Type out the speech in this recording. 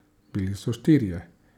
Bili so štirje.